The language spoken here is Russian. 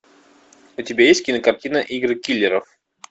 у тебя есть кинокартина игры киллеров